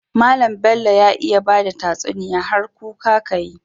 Mallan Bello ya iya bada tatsuniya har kuka kayi yi